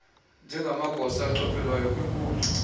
njengamagosa achophelayo kwiinkundla